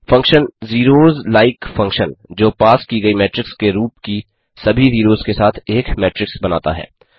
function zeros like function जो पास की गयी मेट्रिक्स के रूप की सभी जीरोस के साथ एक मेट्रिक्स बनाता है